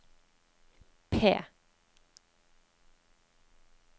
P